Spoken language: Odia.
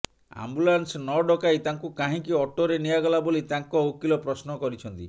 ଆମ୍ବୁଲାନ୍ସ ନଡକାଇ ତାଙ୍କୁ କାହିଁକି ଅଟୋରେ ନିଆଗଲା ବୋଲି ତାଙ୍କ ଓକିଲ ପ୍ରଶ୍ନ କରିଛନ୍ତି